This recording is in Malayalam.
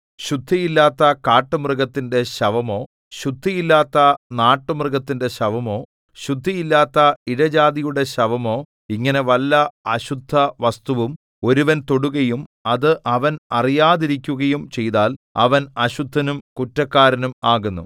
ശുദ്ധിയില്ലാത്ത കാട്ടുമൃഗത്തിന്റെ ശവമോ ശുദ്ധിയില്ലാത്ത നാട്ടുമൃഗത്തിന്റെ ശവമോ ശുദ്ധിയില്ലാത്ത ഇഴജാതിയുടെ ശവമോ ഇങ്ങനെ വല്ല അശുദ്ധവസ്തുവും ഒരുവൻ തൊടുകയും അത് അവൻ അറിയാതിരിക്കുകയും ചെയ്താൽ അവൻ അശുദ്ധനും കുറ്റക്കാരനും ആകുന്നു